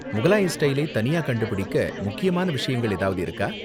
முகலாய ஸ்டைலை தனியா கண்டுபிடிக்க முக்கியமான விஷயங்கள் ஏதாவது இருக்கா?